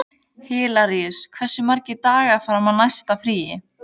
Hilaríus, hversu margir dagar fram að næsta fríi?